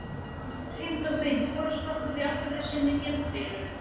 Hreint og beint forstokkuð í allri sinni geðbilun.